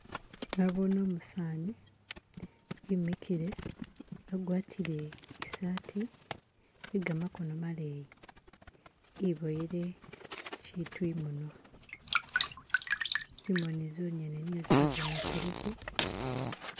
Nabone umusani imikile, agwatile isati ye gamakono maleyi, iboyele kitu imunwa, zimoni zonyene niyo zibonekeleko